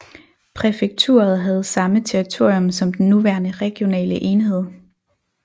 Præfekturet havde samme territorium som den nuværende regionale enhed